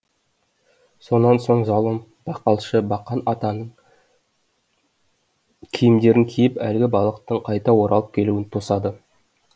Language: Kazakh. сонан соң залым бақалшы бақан атаның киімдерін киіп әлгі балықтың қайта оралып келуін тосады